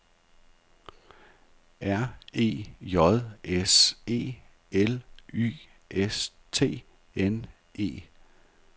R E J S E L Y S T N E